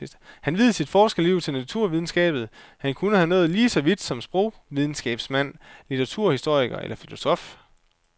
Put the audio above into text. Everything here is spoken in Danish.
Han viede sit forskerliv til naturvidenskaben, han kunne være nået lige så vidt som sprogvidenskabsmand, litteraturhistoriker eller filosof.